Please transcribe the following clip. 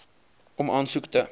om aansoek te